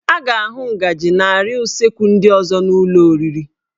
A ga-ahụ ngaji na arịa usekwu ndị ọzọ n'ụlọ oriri